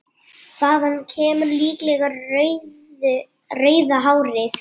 Þaðan kemur líklega rauða hárið.